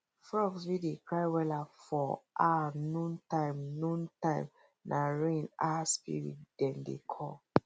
frogs wey dey cry wella for um noon time noon time nah rain um spirit dem dey call